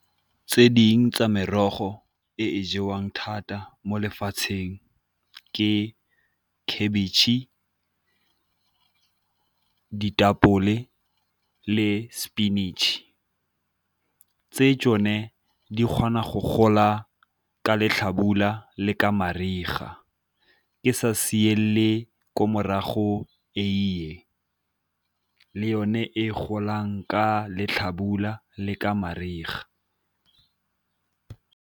Tse dingwe tsa merogo e e jewang thata mo lefatsheng ke khabitšhe, ditapole le spinach tse tsone di kgona go gola ka letlhabula le ka mariga. Ke sa siele ko morago eiye le yone e golang ka letlhabula le ka mariga.